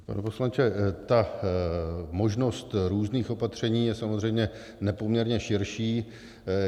Pane poslanče, ta možnost různých opatření je samozřejmě nepoměrně širší.